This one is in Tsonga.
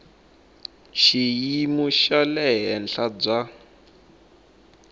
xiyimo xa le henhla bya